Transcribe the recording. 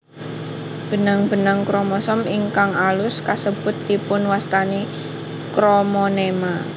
Benang benang kromosom ingkang alus kasebut dipunwastani kromonema